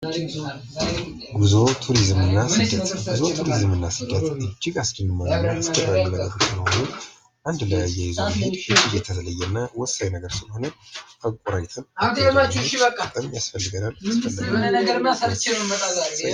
ጉዞ ቱሪዝምና ስደት:-ጉዞ ቱሪዝምና ስደት አንድ የሚያይዘዉ የተለየ እና ወሳኝ ነገር ስለሆነ ያስፈልገናል።